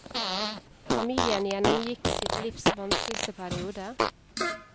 Familien gjennomgikk sitt livs vanskeligste periode.